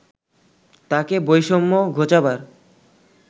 তাকে বৈষম্য ঘোচাবার